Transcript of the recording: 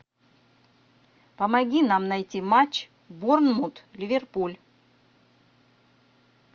помоги нам найти матч борнмут ливерпуль